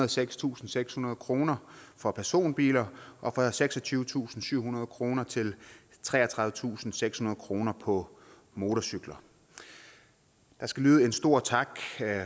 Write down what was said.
og sekstusindsekshundrede kroner for personbiler og fra seksogtyvetusinde og syvhundrede kroner til treogtredivetusinde og sekshundrede kroner på motorcykler der skal lyde en stor tak